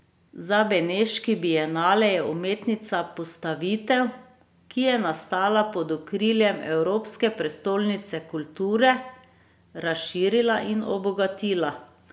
Za Beneški bienale je umetnica postavitev, ki je nastala pod okriljem Evropske prestolnice kulture, razširila in obogatila.